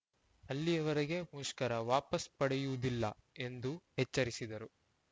ಅಲ್ಲಿಯವರೆಗೆ ಮುಷ್ಕರ ವಾಪಸ್‌ ಪಡೆಯುವುದಿಲ್ಲ ಎಂದು ಎಚ್ಚರಿಸಿದರು